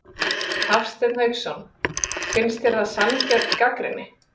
Hafsteinn Hauksson: Finnst þér það sanngjörn gagnrýni?